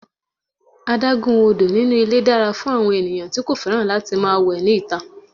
Adágún odò inú ilé dára fún àwọn ènìyàn tí kò fẹ́ràn láti máa wẹ ní ìta.